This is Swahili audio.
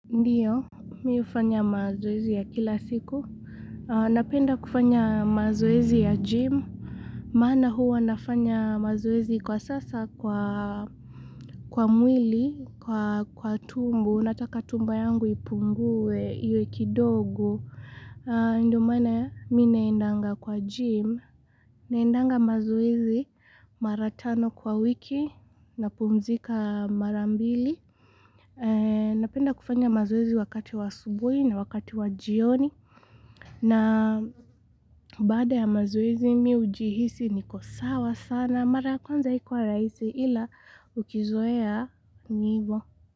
Ndio, mimi hufanya mazoezi ya kila siku. Napenda kufanya mazoezi ya gym. Maana huwa nafanya mazoezi kwa sasa kwa mwili, kwa tumbo. Nataka tumbo yangu ipungue, iwe kidogo. Ndiyo maana mimi naendanga kwa gym. Naendanga mazoezi mara tano kwa wiki napumzika mara mbili. Napenda kufanya mazoezi wakati wa asubuhi na wakati wa jioni na baada ya mazoezi mimi hujihisi niko sawa sana Mara kwanza haikuwa rahisi ila ukizoea ni ivo.